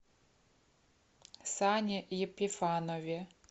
сане епифанове